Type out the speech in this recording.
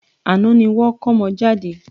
Àná ni wọ́n kómọ jade.